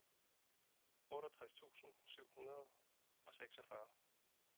otteogtres tusind syv hundrede og seksogfyrre